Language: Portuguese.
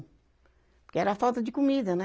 Porque era a falta de comida, né?